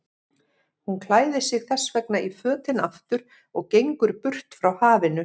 Hún klæðir sig þessvegna í fötin aftur og gengur burt frá hafinu.